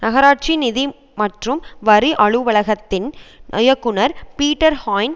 நகராட்சி நிதி மற்றும் வரி அலுவலகத்தின் இயக்குநர் பீட்டர் ஹாய்ன்